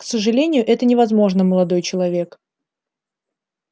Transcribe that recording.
к сожалению это невозможно молодой человек